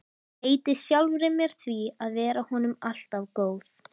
Heiti sjálfri mér því að vera honum alltaf góð.